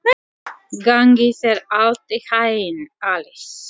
Bæringur, lækkaðu í græjunum.